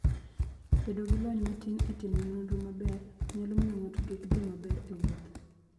Bedo gi lony matin e timo nonro maber, nyalo miyo ng'ato kik dhi maber e wuoth.